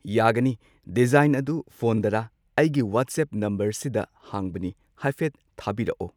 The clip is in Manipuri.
ꯌꯥꯒꯅꯤ ꯗꯤꯖꯥꯏꯟ ꯑꯗꯨ ꯐꯣꯟꯗꯔꯥ ꯑꯩꯒꯤ ꯋꯥꯇꯁꯦꯞ ꯅꯝꯕꯔ ꯁꯤꯗ ꯍꯥꯡꯕꯅꯤ ꯍꯥꯏꯐꯦꯠ ꯊꯥꯕꯤꯔꯛꯑꯣ꯫